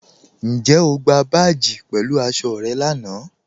Ǹjẹ̀ o gbà báàjì pẹ̀lú aṣọ̀ rẹ̀ láńà?